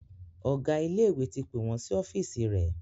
Ọgá ilé ìwé ti pé wón sí ọ́fíìsì rẹ